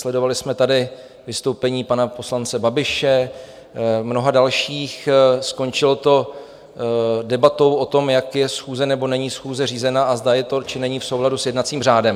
Sledovali jsme tady vystoupení pana poslance Babiše, mnoha dalších, skončilo to debatou o tom, jak je schůze nebo není schůze řízena a zda je to či není v souladu s jednacím řádem.